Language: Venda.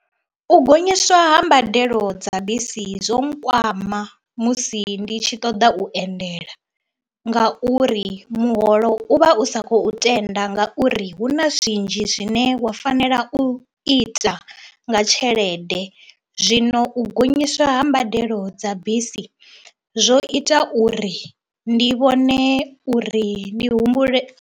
U gonyiswa ha mbadelo dza bisi zwo nkwama musi ndi tshi ṱoḓa u endela ngauri muholo u vha u sa khou tenda ngauri hu na zwinzhi zwine nṋe wa fanela u ita nga tshelede, zwino u gonyiswa ha mbadelo dza bisi zwo ita uri ndi vhone uri ndi humbule.